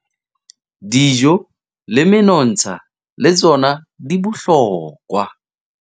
Dijo le menontsha le tsona di bohlokwa